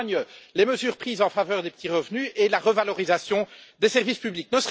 En témoignent les mesures prises en faveur des petits revenus et la revalorisation des services publics.